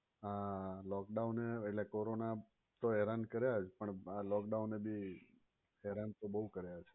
આ lockdown એ એટલે corona એ તો હેરાન કર્યા જ પણ આ lockdown એ ભી હેરાન તો બહુજ કર્યા છે.